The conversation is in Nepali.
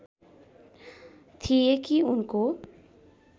थिए कि उनको